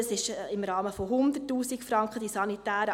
das ist im Rahmen von 100 000 Franken veranschlagt.